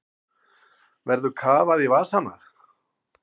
Verður kafað í vasana